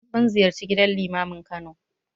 Mun ziyarci gidan Limamin Kano.